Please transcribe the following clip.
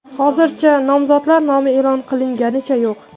Hozircha nomzodlar nomi e’lon qilinganicha yo‘q.